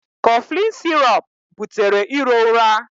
Cofflin sirọp butere iro ụra.